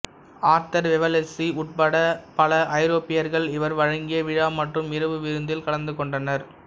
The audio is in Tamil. ஆர்தர் வெல்லஸ்லி உட்பட பல ஐரோப்பியர்கள் இவர் வழங்கிய விழா மற்றும் இரவு விருந்தில் கலந்து கொண்டனர்